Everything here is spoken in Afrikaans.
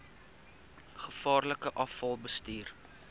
gevaarlike afval bestuur